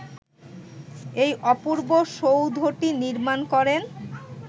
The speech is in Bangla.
এ অপূর্ব সৌধটি নির্মাণ করেন